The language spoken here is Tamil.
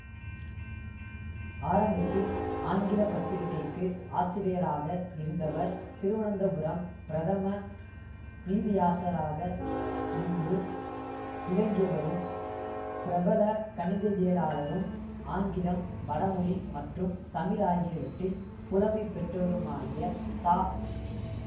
ஆரம்பத்தில் ஆங்கில பத்திரிகைக்கு ஆசிரியராக இருந்தவர் திருவனந்தபுரம் பிரதம நீதியாசராக முன்பு விளங்கியவரும் பிரபல கணிதவியலாளரும் ஆங்கிலம் வடமொழி மற்றும் தமிழ் ஆகியவற்றில் புலமை பெற்றவருமாகிய தா